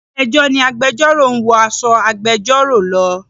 Ilé ẹjọ́ ni agbẹjọ́rò ń wọ aṣọ agbẹjọ́rò lọ.